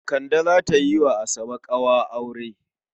Kande za ta yi wa Asabe ƙawa a aure.